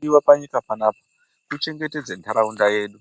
Chinodiva panyika panapa kuchendetedza ntaraunda yedu